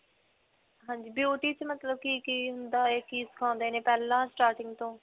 ਹਾਂਜੀ. beauty ;ਚ ਮਤਲਬ ਕਿ-ਕਿ ਹੁੰਦਾ ਹੈ. ਕਿ ਸਿਖਾਉਂਦੇ ਨੇ ਪਹਿਲਾਂ starting ਤੋਂ?